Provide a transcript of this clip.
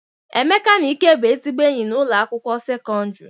Emeka na Ike bụ ezigbo enyi na ụlọ akwụkwọ sekọndrị.